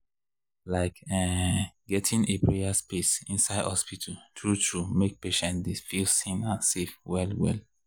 like ehnn gettin’ a prayer space inside hospital true-true make patients dy feel seen and safe well well.